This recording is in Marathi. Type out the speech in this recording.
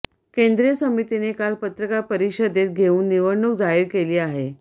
केंद्रीय समितीने काल पत्रकार परिषदेत घेऊन निवडणूक जाहीर केली आहे